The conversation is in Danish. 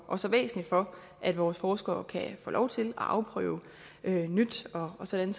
og så væsentligt for at vores forskere kan få lov til at afprøve nyt og sådan